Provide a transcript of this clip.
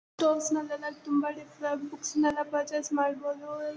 Stalls ನಲ್ಲಿ ಎಲ್ಲ ತುಂಬಾ ಡಿಫರೆಂಟ್ ಬುಕ್ಸ್ ಎಲ್ಲಾ ಪರ್ಚೇಸ್ ಮಾಡಬೋದು.